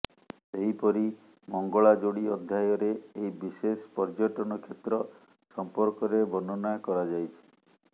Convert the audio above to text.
ସେହିପରି ମଙ୍ଗଳାଯୋଡ଼ି ଅଧ୍ୟାୟରେ ଏହି ବିଶେଷ ପର୍ଯ୍ୟଟନ କ୍ଷେତ୍ର ସମ୍ପର୍କରେ ବର୍ଣ୍ଣନା କରାଯାଇଛି